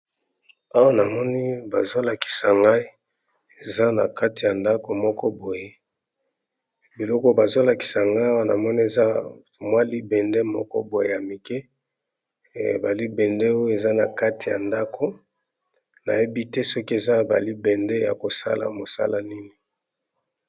awa na moni bazolakisa ngai eza na kati ya ndako moko boye biloko bazolakisa ngai wana moni eza mwa libende moko boye ya mike balibende oyo eza na kati ya ndako nayebi te soki eza balibende ya kosala mosala nini